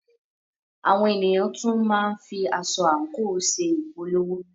Àwọn ènìyàn tún máa ń fi aṣọ/àǹkò ṣe ìpolówó.